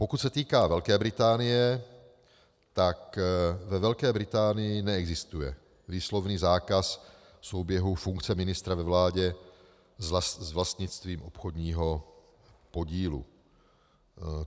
Pokud se týká Velké Británie, tak ve Velké Británii neexistuje výslovný zákaz souběhu funkce ministra ve vládě s vlastnictvím obchodního podílu.